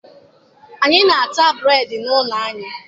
Anyị na-ata bụreedị n'ụlọ anyị.